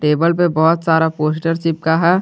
Table पे बहुत सारा पोस्टर चिपका है।